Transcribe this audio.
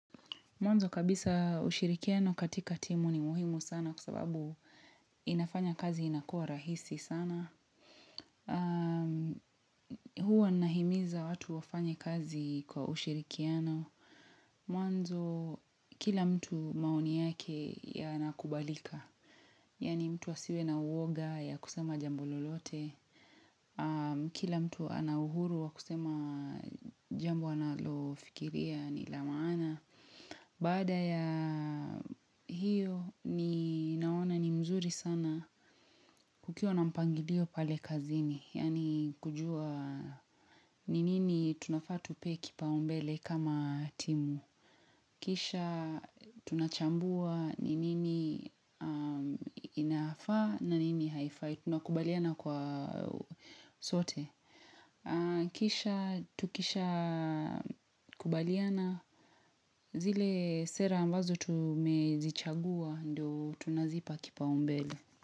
Mwanzo kabisa ushirikiano katika timu ni muhimu sana kwa sababu inafanya kazi inakuwa rahisi sana. Huwa nahimiza watu wafanya kazi kwa ushirikiano. Mwanzo kila mtu maooni yake yanakubalika. Yani mtu asiwe na uoga ya kusema jambo lolote. Kila mtu ana uhuru wa kusema jambo analofikiria ni la maana. Baada ya hiyo ni naona ni mzuri sana kukiwa na mpangilio pale kazini, yani kujua ni nini tunafa tupee kipaumbele kama timu. Kisha tunachambua ni nini inafaa na nini haifai, tunakubaliana kwa sote. Kisha tukisha kubaliana zile sera ambazo tumezichagua ndio tunazipa kipa umbele.